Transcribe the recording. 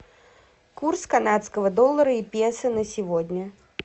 курс канадского доллара и песо на сегодня